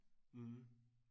mh